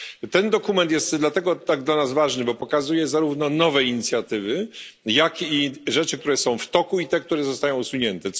Ten dokument jest dlatego tak dla nas ważny, bo pokazuje zarówno nowe inicjatywy, jak i te, które są w toku, i te, które zostają usunięte.